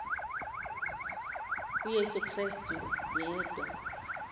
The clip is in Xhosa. uyesu krestu yedwa